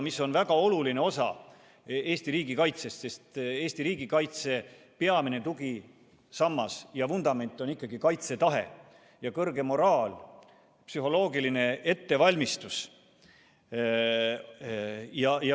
Need on väga oluline osa Eesti riigikaitsest, sest Eesti riigikaitse peamine tugisammas ja vundament on kaitsetahe, kõrge moraal ja psühholoogiline ettevalmistus.